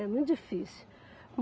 É muito difícil.